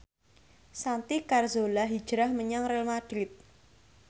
Santi Carzola hijrah menyang Real madrid